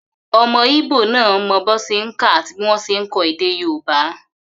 Ọmọ íbò náà mọ bí wọ́n ṣe n kà àti bí wọ́n ṣe n kọ èdè yóòbá